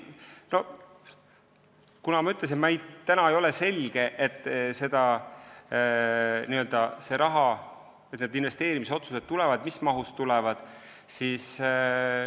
Nagu ma ütlesin, praegu ei ole selge, kas need investeerimisotsused tulevad või mis mahus need tulevad.